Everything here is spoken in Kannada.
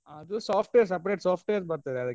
ಅದು software separate software ಬರ್ತದೆ ಅದ್ಕೆ .